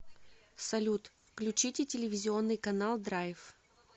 салют включите телевизионный канал драйв